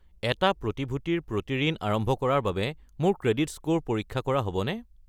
এটা প্ৰতিভূতিৰ প্ৰতি ঋণ আৰম্ভ কৰাৰ বাবে মোৰ ক্ৰেডিট স্ক'ৰ পৰীক্ষা কৰা হ'বনে?